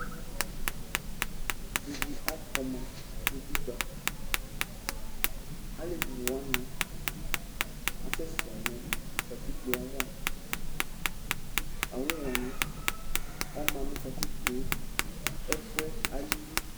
ivi akpɔma nu utikpa, alevi wʋani asɛsɛ nu katikpoe ava, awu wʋani ɔma nu katikpoe, ɛfuɛ alili